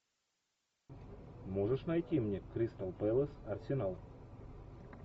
можешь найти мне кристал пэлас арсенал